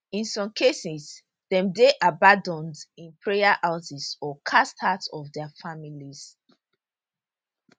in some cases dem dey abanAcceptedd in prayer houses or cast out of dia families